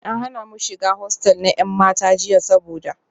An hana mu shiga hostel na 'yan mata jiya saboda